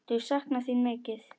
Þau sakna þín mikið.